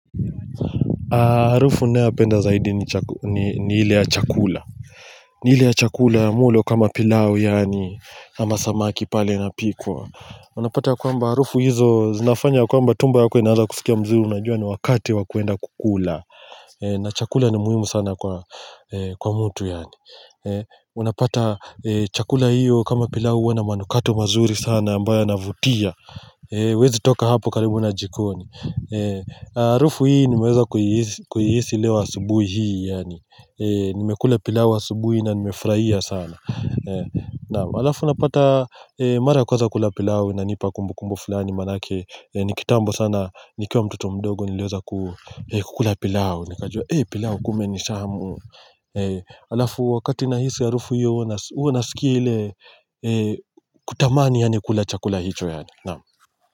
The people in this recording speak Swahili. Harufu naye penda zaidi ni hile ya chakula ni hile ya chakula ya mlo kama pilau yaani kama samaki pale na pikwa Unapata kwa mba harufu hizo zinafanya kwamba tumbo yako inaaza kusikia mzuri Najua ni wakati wakuenda kukula na chakula ni muhimu sana kwa mtu yaani Unapata chakula hiyo kama pilau huwa n a manukato mazuri sana ambaye ya navutia huwezi toka hapo karibu na jikoni harufu hii nimeweza kuhihisi leo asubuhi hii nimekula pilau wa asubuhi na nimefuraia sana Alafu napata mara kwaza kula pilau inanipa kumbukumbu fulani manake Nikitambo sana nikiwa mtoto mdogo nileweza kukula pilau Nikajua eh pilau kumba nitamu Alafu wakati nahisi ya harufu hiyo huwa naskia ile Kutamani kula chakula hicho yaani No.